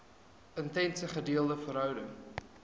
intense gedeelde verhouding